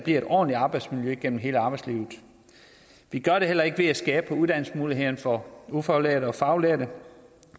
et ordentligt arbejdsmiljø gennem hele arbejdslivet vi gør det heller ikke ved at skære ned på uddannelsesmulighederne for ufaglærte og faglærte